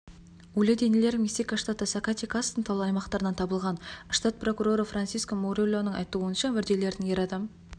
өлі денелер мексика штаты сакатекастың таулы аймақтарынан табылған штат прокуроры франсиско мурильоның айтуынша мүрделердің ер адам